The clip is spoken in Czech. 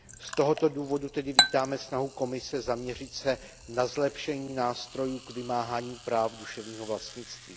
Z tohoto důvodu tedy vítáme snahu Komise zaměřit se na zlepšení nástrojů k vymáhání práv duševního vlastnictví.